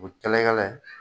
U kɛlɛn kɛlɛn.